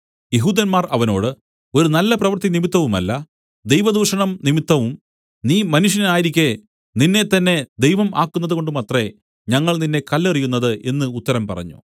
യെഹൂദന്മാർ അവനോട് ഒരു നല്ലപ്രവൃത്തി നിമിത്തവുമല്ല ദൈവദൂഷണം നിമിത്തവും നീ മനുഷ്യനായിരിക്കെ നിന്നെത്തന്നെ ദൈവം ആക്കുന്നതുകൊണ്ടുമത്രേ ഞങ്ങൾ നിന്നെ കല്ലെറിയുന്നത് എന്നു ഉത്തരം പറഞ്ഞു